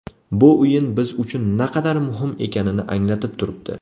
Bu o‘yin biz uchun naqadar muhim ekanini anglatib turibdi.